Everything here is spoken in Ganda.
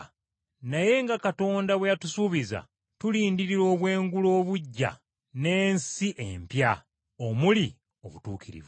Naye nga Katonda bwe yatusuubiza, tulindirira obwengula obuggya n’ensi empya omuli obutuukirivu.